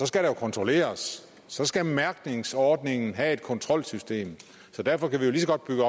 skal der jo kontrolleres så skal mærkningsordningen have et kontrolsystem så derfor kan vi jo lige så godt bygge